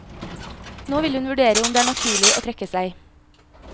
Nå vil hun vurdere om det er naturlig å trekke seg.